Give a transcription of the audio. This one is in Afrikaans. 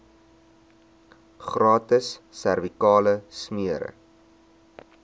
gratis servikale smere